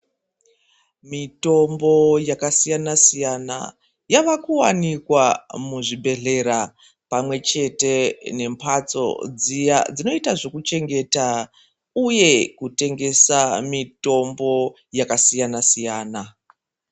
Mitombo yakasiyana siyana yava kuwanikwa muzvibhedhlera pamwe chete nemhatso dziya dzinoita zvekuchengeta uye kutengesa mitombo yakasiyana siyana .